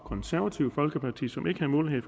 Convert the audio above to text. konservative folkeparti som ikke har mulighed